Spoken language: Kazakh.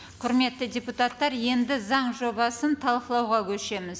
құрметті депутаттар енді заң жобасын талқылауға көшеміз